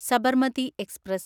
Sabarmati express